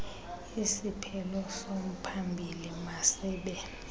isiphelo somphambili masibe